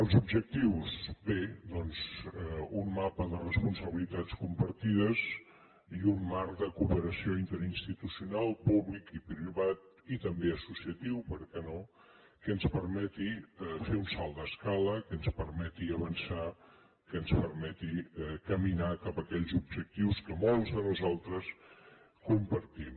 els objectius bé doncs un mapa de responsabilitats compartides i un marc de cooperació interinstitucional públic i privat i també associatiu per què no que en permeti fer un salt d’escala que ens permeti avançar que ens permeti caminar cap aquells objectius que molts de nosaltres compartim